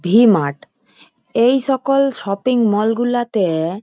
V mart এই সকল shopping mall গুলাতে --